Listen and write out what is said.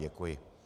Děkuji.